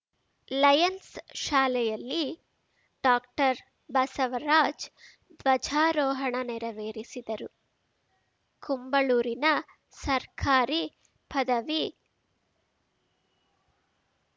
Lions ಶಾಲೆಯಲ್ಲಿ doctor Basavaraj ಧ್ವಜಾರೋಹಣ ನೆರವೇರಿಸಿದರು ಕುಂಬಳೂರಿನ ಸರ್ಕಾರಿ ಪದವಿ